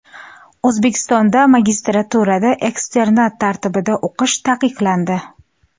O‘zbekistonda magistraturada eksternat tartibida o‘qish taqiqlandi.